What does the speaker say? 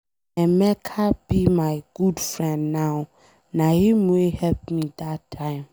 Emeka be my good friend now, na him wey help me dat time.